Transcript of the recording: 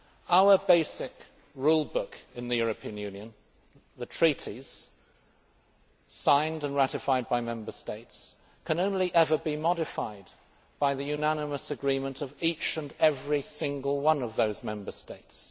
Our basic rule book in the European Union, the treaties signed and ratified by Member States, can only ever be modified by the unanimous agreement of each and every single one of those Member States.